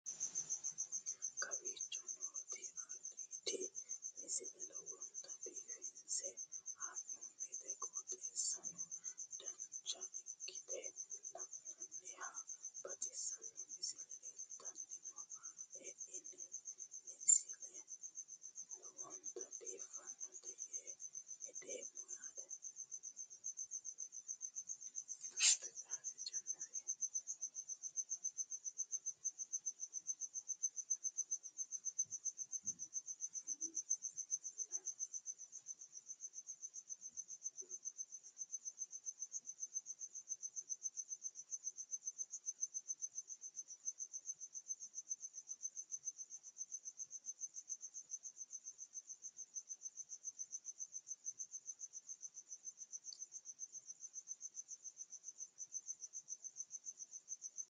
kowicho nooti aliidi misile lowonta biifinse haa'noonniti qooxeessano dancha ikkite la'annohano baxissanno misile leeltanni nooe ini misile lowonta biifffinnote yee hedeemmo yaate